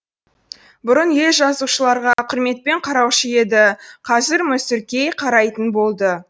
бұрын ел жазушыларға құрметпен қараушы еді қазір мүсіркей қарайтын болды